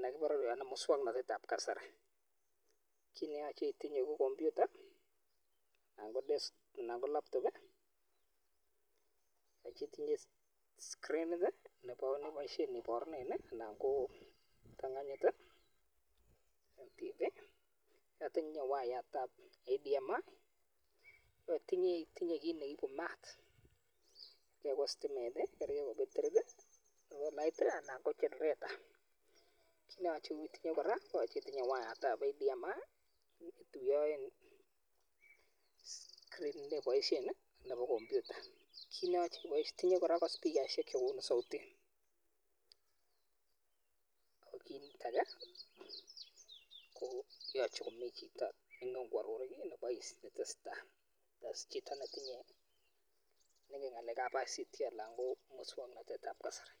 nekibore muswong'notet ab kasari. Kiit neyoch itinye ko computer anan ko laptop, yoche itinye scrinit neboisien iborunen anan ko, itinye wayat ab HDMI, itinye kiit neibu maat noton ko stimet, betirit, solait anan ko chenereta, kiit neyoche itinye kora ko spikaisiek chekonu soutit ak kiit age kora ko yoche komi chito nengen kworor kiit netesetai yes, chito nengen ngalek ab ICT anan ko muswong'notet ab kasari.